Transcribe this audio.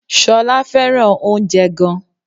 Ṣọlá fẹ́ràn oúnjẹ gan